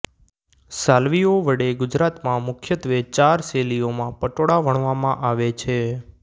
સાલવીઓ વડે ગુજરાતમાં મુખ્યત્વે ચાર શૈલીઓમાં પટોળા વણવામાં આવે છે